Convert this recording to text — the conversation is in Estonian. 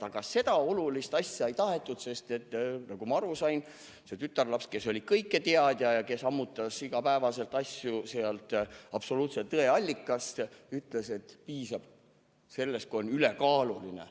Aga seda olulist asja ei tahetud, sest nagu ma aru sain, see tütarlaps, kes oli kõiketeadja ja kes ammutas igapäevaselt teadmisi absoluutse tõe allikast, ütles, et piisab sellestki, kui on "ülekaaluline".